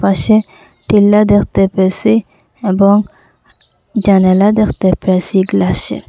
পাশে টিলা দেখতে পেয়েসি এবং জানালা দেখতে পেয়েসি গ্লাসের।